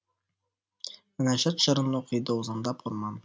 мінәжәт жырын оқиды озандап орман